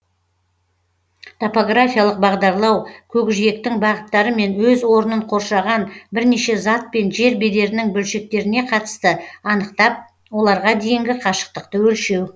топографиялық бағдарлау көкжиектің бағыттары мен өз орнын қоршаған бірнеше зат пен жер бедерінің бөлшектеріне қатысты анықтап оларға дейінгі қашықтықты өлшеу